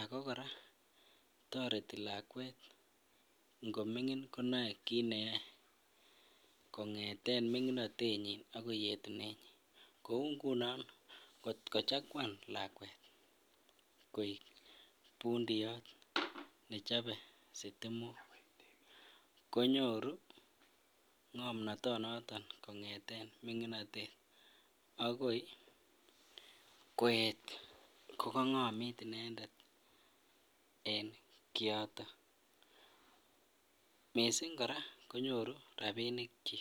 ak ko kora toreti lakwet ngomingin konoe kiit neyoe kongeten minginotenyin akoi yetunenyin, kouu ngunon kochakwan lakwet koik bundiyoy nechobe sitimok konyoru ngomnotonoton kongeten minginotet akoi koyet kokongomit inendet en kioton, mising kora konyoru rabinikyik.